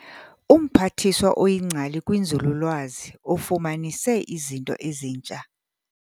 UMphathiswa oyingcali kwinzululwazi ufumanise izinto ezintsha.